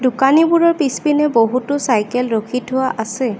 দোকানীবোৰৰ পিছপিনে বহুতো চাইকেল ৰখি থোৱা আছে।